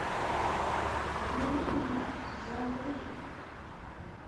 обмани меня сезон три